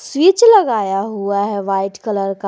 Switch लगाया हुआ है वाइट कलर का।